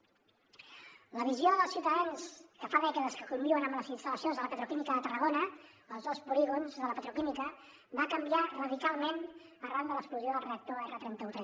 la visió dels ciutadans que fa dècades que conviuen amb les instal·lacions de la petroquímica de tarragona als dos polígons de la petroquímica va canviar radicalment arran de l’explosió del reactor r3131